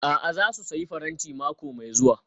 A'a, za su sayi faranti mako mai zuwa